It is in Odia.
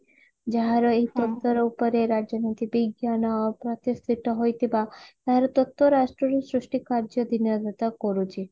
ଯାହାର ଏଇ ଉପରେ ରାଜନୀତି ବିଜ୍ଞାନ ପ୍ରତିଷ୍ଠିତ ହୋଇଥିବା ଏହାର ତତ୍ବ୍ୟ ରାଷ୍ଟ୍ର ରୁ ସୃଷ୍ଟି କାର୍ଯ୍ୟ କରୁଚି